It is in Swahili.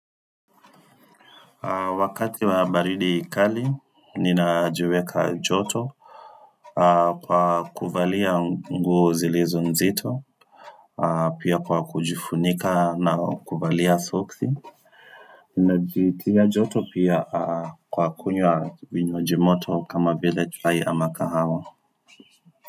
Wakati wa baridi kali ninajiweka joto kwa kuvalia nguo zilizo nzito, pia kwa kujifunika na kuvalia soksi ninajitia joto pia kwa kunywa vinywaji moto kama vile chai ama kahawa.